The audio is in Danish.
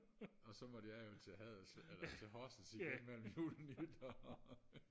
og så måtte jeg jo til Haderslev eller til Horsens igen jo mellem jul og nytår